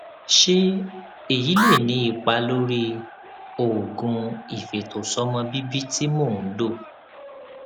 ṣé èyí lè ní ipa lórí oògùn ìfètòsọmọbíbí tí mò ń lò